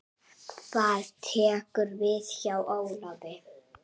Hvað tekur við hjá Ólafi?